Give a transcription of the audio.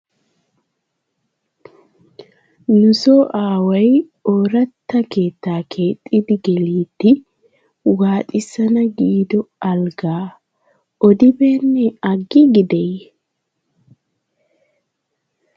Nusso aaway ooratta keettaa keexxidi geliddi waaxissana giido alggaa odibeene? agiigideyye?